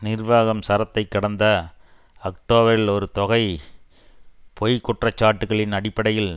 நிர்வாகம் சரத்தை கடந்த அக்டோபரில் ஒரு தொகை பொய் குற்றச்சாட்டுக்களின் அடிப்படையில்